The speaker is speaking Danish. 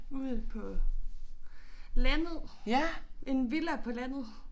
Ude på landet. En villa på landet